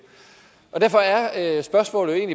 derfor er er spørgsmålet jo